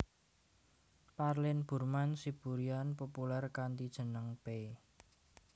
Parlin Burman Siburian populèr kanthi jeneng Pay